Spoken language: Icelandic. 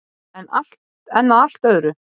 En að allt öðru.